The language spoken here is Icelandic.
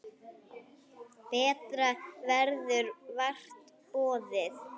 Betra verður vart boðið.